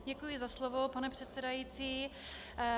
Děkuji za slovo, pane předsedající.